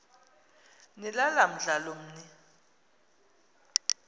nilala mdlalomn l